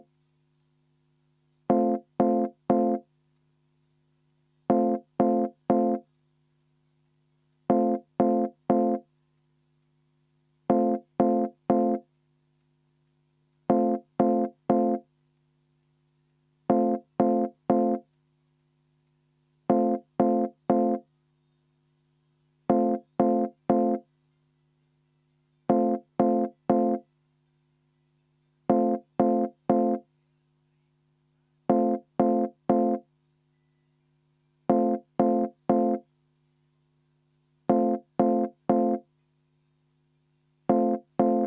V a h e a e g